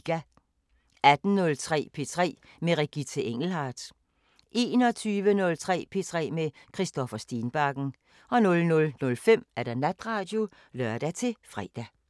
18:03: P3 med Regitze Engelhardt 21:03: P3 med Christoffer Stenbakken 00:05: Natradio (lør-fre)